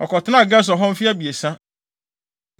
Ɔkɔtenaa Gesur hɔ mfe abiɛsa.